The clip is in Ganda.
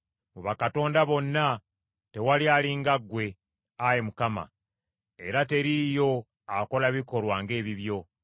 Mu bakatonda bonna tewali ali nga ggwe, Ayi Mukama; era teriiyo akola bikolwa ng’ebibyo.